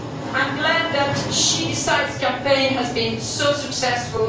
I am glad that the She Decides' campaign has been so successful.